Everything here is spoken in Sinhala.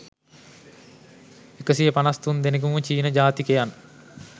එකසිය පනස් තුන් දෙනෙකුම චීන ජාතිකයන්.